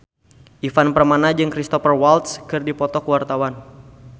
Ivan Permana jeung Cristhoper Waltz keur dipoto ku wartawan